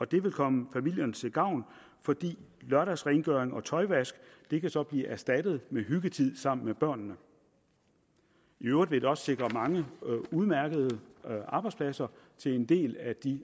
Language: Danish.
det vil komme familierne til gavn for lørdagsrengøring og tøjvask kan så blive erstattet med hyggetid sammen med børnene i øvrigt vil det også sikre mange udmærkede arbejdspladser til en del af de